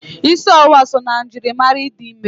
Ịsị ọwụwa so na njirimara ịdị ime.